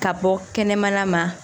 Ka bɔ kɛnɛmana ma